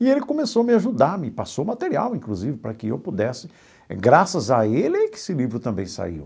E ele começou a me ajudar, me passou material, inclusive, para que eu pudesse... Graças a ele que esse livro também saiu.